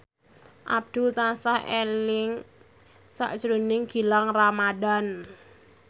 Abdul tansah eling sakjroning Gilang Ramadan